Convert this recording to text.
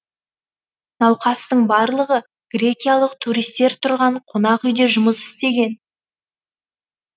науқастың барлығы грекиялық туристер тұрған қонақ үйде жұмыс істеген